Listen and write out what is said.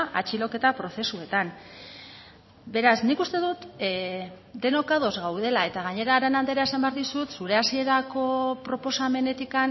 atxiloketa prozesuetan beraz nik uste dut denok ados gaudela eta gainera arana andrea esan behar dizut zure hasierako proposamenetik